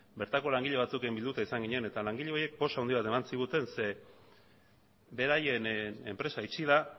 bertako langile batzuekin bilduta izan ginen eta langile horiek poz handi bat eman ziguten zeren eta beraien enpresa itxi da